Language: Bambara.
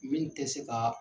[Min tɛ se ka